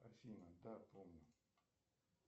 афина да помню